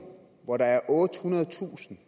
hvor der er ottehundredetusind